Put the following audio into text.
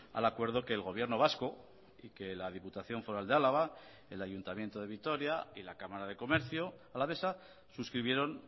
al acuerdo que el gobierno vasco y que la diputación foral de álava el ayuntamiento de vitoria y la cámara de comercio alavesa suscribieron